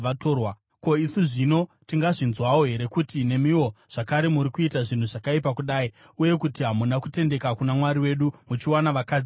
Ko, isu zvino tingazvinzwawo here kuti nemiwo zvakare muri kuita zvinhu zvakaipa kudai uye kuti hamuna kutendeka kuna Mwari wedu, muchiwana vakadzi vatorwa?”